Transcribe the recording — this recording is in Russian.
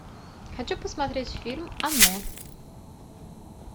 хочу посмотреть фильм оно